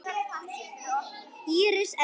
Íris Erna.